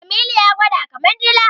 Jamilu ya gwada kama dila.